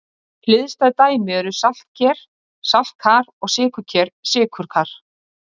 Hliðstæð dæmi eru saltker-saltkar og sykurker-sykurkar.